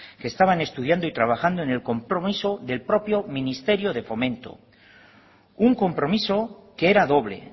que estaban estudiando y trabajando en el compromiso del propio ministerio de fomento un compromiso que era doble